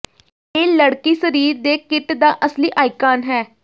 ਇਹ ਲੜਕੀ ਸਰੀਰ ਦੇ ਕਿੱਟ ਦਾ ਅਸਲੀ ਆਈਕਾਨ ਹੈ